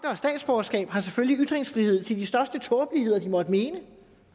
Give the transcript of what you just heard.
har statsborgerskab selvfølgelig har ytringsfrihed til de største tåbeligheder de måtte mene